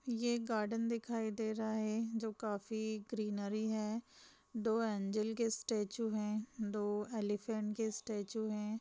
ये एक गार्डन दिखाई दे रहा है जो काफी ग्रीनरी है दो एंजल के स्टैचू है दो एलीफेंट के स्टैचू है।